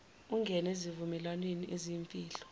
ungene ezivumelwaneni eziyimfihlo